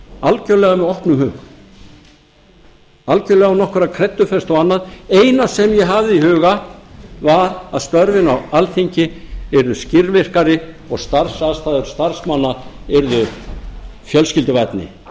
algjörlega með opnum huga algjörlega án nokkurrar kreddufestu og annað eina sem ég hafði í huga var að störfin á alþingi yrðu skilvirkari og starfsaðstaða starfsmanna yrðu fjölskylduvænni